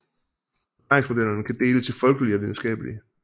Forklaringsmodellerne kan deles i folkelige og videnskabelige